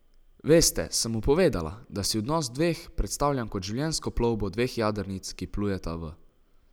Veste, sem mu povedala, da si odnos dveh predstavljam kot življenjsko plovbo dveh jadrnic, ki plujeta v isto smer, ne pa kot plovbo katamarana.